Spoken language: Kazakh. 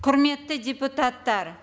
құрметті депутаттар